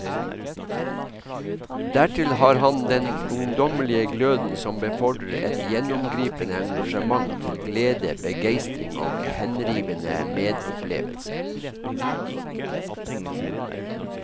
Dertil har han den ungdommelige gløden som befordrer et gjennomgripende engasjement til glede, begeistring og henrivende medopplevelse.